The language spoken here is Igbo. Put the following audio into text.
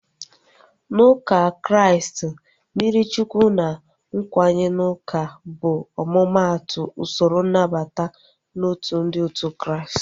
Na ụka Kraịst, mmiri Chukwu na nkwenye n'uka bụ omumatu usoro nnabata n'otu ndị otu Kraịst